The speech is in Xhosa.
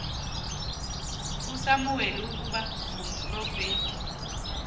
usamuweli ukuba ngumprofeti